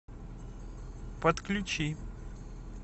подключи